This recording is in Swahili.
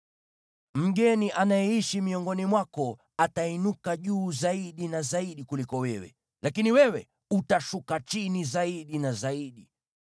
Mgeni anayeishi miongoni mwako atainuka juu zaidi na zaidi kuliko wewe, lakini wewe utashuka chini zaidi na zaidi.